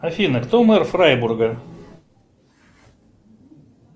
афина кто мэр фрайбурга